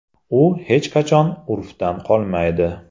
U hech qachon urfdan qolmaydi.